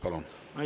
Palun!